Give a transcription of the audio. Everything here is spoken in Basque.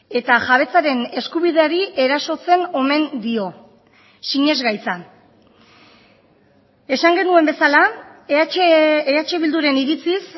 eta jabetzaren eskubideari erasotzen omen dio sinesgaitza esan genuen bezala eh bilduren iritziz